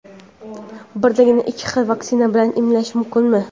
Birdaniga ikki xil vaksina bilan emlanish mumkinmi?.